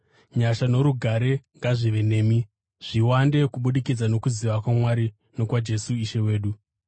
Nyasha norugare ngazvive nemi, zviwande kubudikidza nokuziva kwaMwari nokwaJesu Ishe wedu.